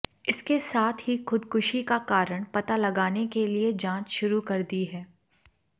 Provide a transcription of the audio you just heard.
इसके साथ ही खुदकुशी का कारण पता लगाने के लिए जांच शुरू कर दी है